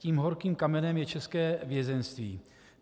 Tím horkým kamenem je české vězeňství.